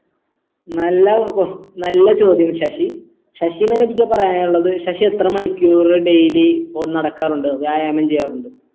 നല്ല ques നല്ല ചോദ്യം ശശി ശശിനോടെനിക്ക് പറയാനുള്ളത് ശശി എത്ര മണിക്കൂർ daily ഒ നടക്കാറുണ്ട് വ്യായാമം ചെയ്യാറുണ്ട്